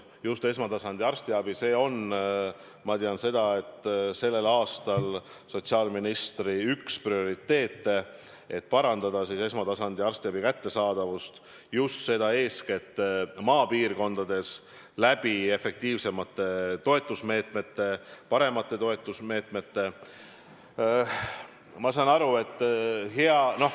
Just esmatasandi arstiabi, ma tean, on sellel aastal sotsiaalministri üks prioriteete, et parandada esmatasandi arstiabi kättesaadavust, seda eeskätt maapiirkondades efektiivsemate toetusmeetmete, paremate toetusmeetmetega.